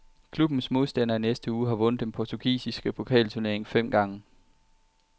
Klubbens modstander i næste uge har vundet den portugisiske pokalturnering fem gange.